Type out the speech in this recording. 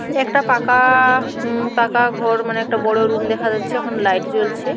এ একটা পাকা-আ-আ-আ উঁ পাকা ঘর মানে একটা বড় রুম দেখা যাচ্ছে ওখানে লাইট জ্বলছে।